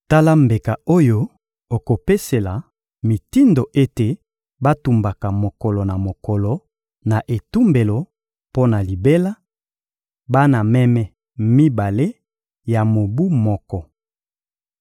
Tala mbeka oyo okopesela mitindo ete batumbaka mokolo na mokolo na etumbelo mpo na libela: bana meme mibale ya mobu moko.